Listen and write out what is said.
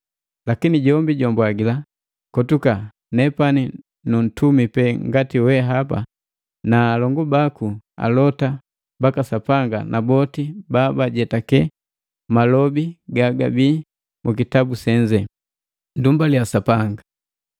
Lakini jombi jwambwagila, “Kotuka! Nepani nunntumi pe ngati wehapa na alongu baku alota baka Sapanga na boti ba bagajetake malobi gagabi mukitabu senze. Nndumbalia Sapanga!”